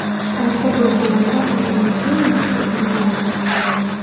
Talaba bo‘lganimda o‘zimni eng baxtli inson hisoblaganman.